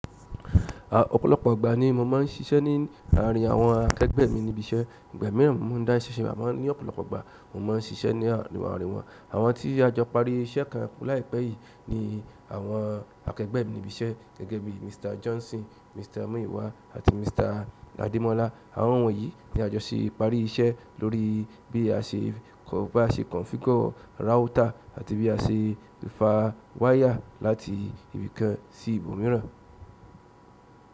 Ọ̀pọ̀lọpọ̀ ìgbà ni mo máa ń ṣiṣẹ́ ní àárín àwọn akẹgbẹ́ mi níbi iṣẹ́. Ìgbà mìíràn mo má a ń dá iṣẹ́ ṣe o, àmọ́ ní ọ̀pọ̀lọpọ̀ ọgbà mo má a ń ṣiṣẹ́ ní àárín àárín wọn. Àwọn tí a jọ parí iṣẹ́ kan láìpẹ́ yìí ni àwọn akẹgbẹ́ mi níbi iṣẹ́ gẹ́gẹ́ bí Mr. Johnson, Mr. Muyiwa àti Mr. Ademola. Àwọn wọ̀nyí ni a jọ ṣe parí iṣẹ́ lórí bí a ṣe kọ, bá ṣe configure router àti bí a ṣe fa wire láti ibì kan sí ibòmíràn.